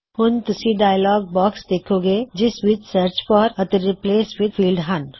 ਹੁਣ ਤੁਸੀ dialog box ਦੇੱਖੋਗੇਂ ਜਿਸ ਵਿੱਚ ਸਰ੍ਚ ਫੌਰ ਅਤੇ ਰਿਪ੍ਲੇਸ ਵਿਦ ਫੀਲ੍ਡ ਹਨ